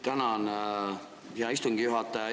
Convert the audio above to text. Tänan, hea istungi juhataja!